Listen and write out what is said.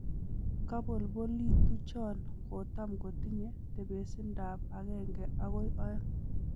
Kabolbolituchon kotam kotinye tebesindab agenge akoi oeng.